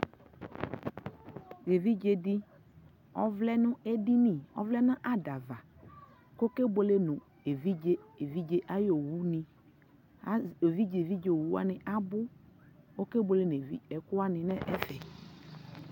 ɛvidzɛ di ɔvlɛ nʋ ɛdini ,ɔvlɛ nʋ adava kʋ ɔkɛ bʋɛlɛ nʋ ɛvidzɛ ayi ɔwʋ ni, ɛvidzɛ ɛvidzɛ ɔwʋ wani abʋ kʋɔkɛ bʋɛlɛ nʋ ɛkʋ wani nʋ ɛfɛ